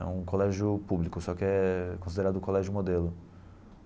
É um colégio público, só que é considerado colégio modelo.